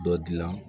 Dɔ dilan